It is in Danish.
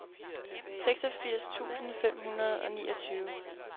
seksogfirs tusind fem hundrede og niogtyve